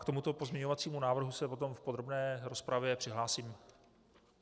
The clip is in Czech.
K tomuto pozměňovacímu návrhu se potom v podrobné rozpravě přihlásím.